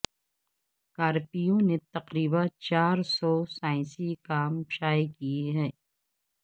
Carpue نے تقریبا چار سو سائنسی کام شائع کیے ہیں